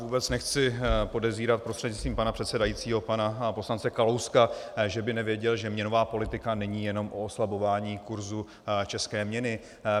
Vůbec nechci podezírat prostřednictvím pana předsedajícího pana poslance Kalouska, že by nevěděl, že měnová politika není jenom o oslabování kurzu české měny.